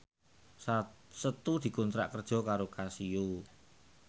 Setu dikontrak kerja karo Casio